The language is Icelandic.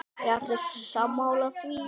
Eru sammála því?